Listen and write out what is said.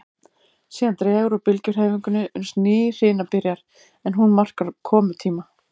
Síðan dregur úr bylgjuhreyfingunni uns ný hrina byrjar, en hún markar komutíma